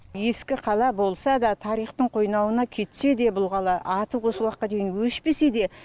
ескі қала болса да тарихтың қойнауына кетсе де бұл қала аты осы уақытқа дейін өшпесе де